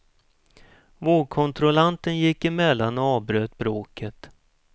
Vågkontrollanten gick emellan och avbröt bråket.